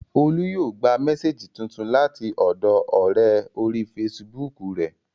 Olú yóò gba mésèjì tuntun láti ọ̀dọọ ọ̀rẹ́ orí fesibúùkù rẹ̀